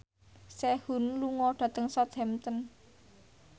Sehun lunga dhateng Southampton